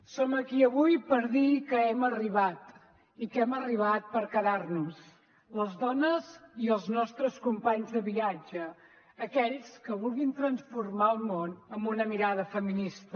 som aquí avui per dir que hem arribat i que hem arribat per quedar nos les dones i els nostres companys de viatge aquells que vulguin transformar el món amb una mirada feminista